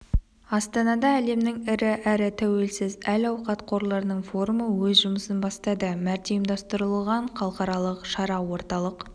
астанада әлемнің ірі әрі тәуелсіз әл-ауқат қорларының форумы өз жұмысын бастады мәрте ұйымдастырылған халықаралық шара орталық